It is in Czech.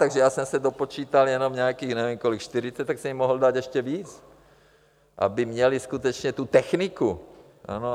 Takže já jsem se dopočítal jenom nějakých, nevím kolik, 40, tak jste jim mohl dát ještě víc, aby měli skutečně tu techniku.